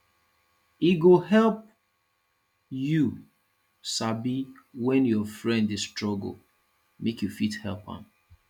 e go help you sabi when your friend de struggle make you fit help am